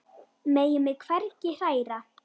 Megi mig hvergi hræra.